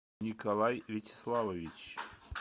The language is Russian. николай вячеславович